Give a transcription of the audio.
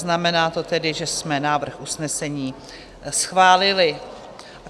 Znamená to tedy, že jsme návrh usnesení schválili.